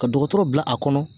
Ka dɔgɔtɔrɔ bila a kɔnɔ